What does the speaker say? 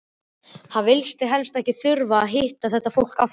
Hann vildi helst ekki þurfa að hitta þetta fólk aftur!